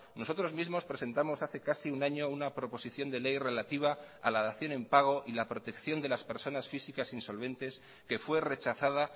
nosotros mismos presentamos hace casi un año una proposición de ley relativa a la dación en pago y la protección de las personas físicas insolventes que fue rechazada